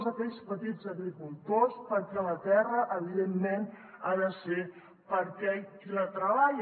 a aquells petits agricultors perquè la terra evidentment ha de ser per a aquell qui la treballa